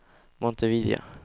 Montevideo